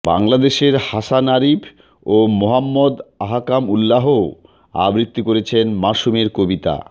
বাংলাদেশের হাসান আরিফ ও মোহাম্মদ আহকাম উল্লাহ ও আবৃত্তি করেছেন মাসুমের কবিতা